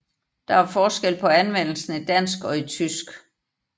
Der er forskel på anvendelsen i dansk og i tysk